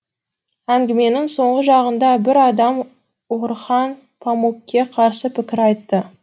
әңгіменің соңғы жағында бір адам орхан памукке қарсы пікір айтты